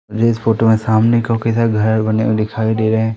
इस फोटो में सामने को किधर घर बने हुए दिखाई दे रहे--